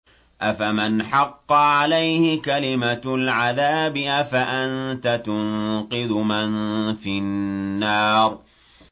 أَفَمَنْ حَقَّ عَلَيْهِ كَلِمَةُ الْعَذَابِ أَفَأَنتَ تُنقِذُ مَن فِي النَّارِ